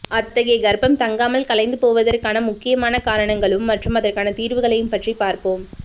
அத்தகைய கர்ப்பம் தங்காமல் கலைந்து போவதற்கான முக்கியமான காரணங்களும் மற்றும் அதற்கான தீர்வுகளையும் பற்றி பார்ப்போம்